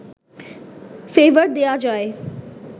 favour দেওয়া যায়